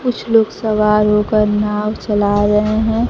कुछ लोग सवार होकर नाव चला रहे हैं।